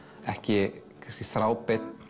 ekki þráðbeinn